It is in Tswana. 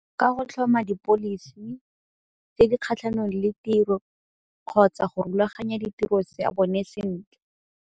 Ka go tlhoma di-policy tse di kgatlhanong le tiro kgotsa go rulaganya ditiro ya bone sentle.